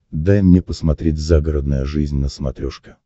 дай мне посмотреть загородная жизнь на смотрешке